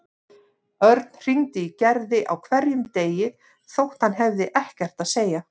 Örn hringdi í Gerði á hverjum degi þótt hann hafði ekkert að segja.